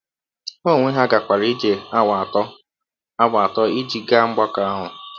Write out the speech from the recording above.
Ha onwe ha gakwara ije awa atọ awa atọ ịjị gaa mgbakọ ahụ.